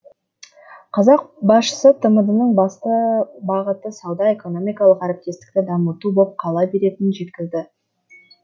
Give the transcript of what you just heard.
қазақ басшысы тмд ның басты бағыты сауда экономикалық әріптестікті дамыту боп қала беретінін жеткізді